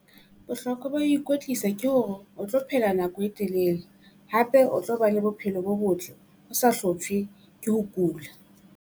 Bohlokwa ba ho ikwetlisa ke hore o tlo phela nako e telele hape o tlo ba le bophelo bo botle o sa hloptjhwe ke ho kula.